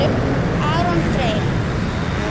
Aron Freyr.